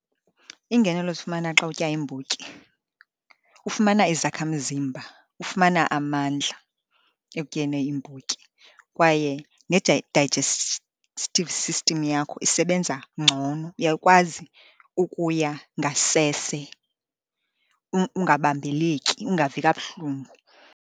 Iingenelo ozifumana xa utya iimbotyi, ufumana izakha mzimba. Ufumana amandla ekutyeni iimbotyi, kwaye digestive system yakho isebenza ngcono, uyakwazi ukuya ngasese ungabambeleki ungavi kabuhlungu.